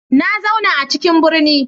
Na zauna a cikin birni